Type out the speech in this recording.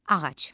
Ağac.